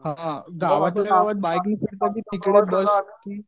हा गावातल्या गावात बाईकने फिरत की तिकडे बस की